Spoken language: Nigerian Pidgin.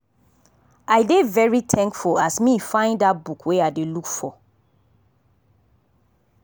i dey very thankful as me find that book wey i dey look for.